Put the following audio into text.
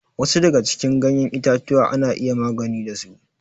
Wasu daga cikin ganyen itatuwa ana iya magani da su.